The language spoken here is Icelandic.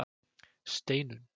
Steinunn